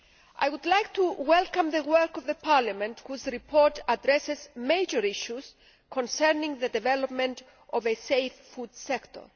I would like to welcome the work of Parliament, whose report addresses major issues concerning the development of a safe food sector.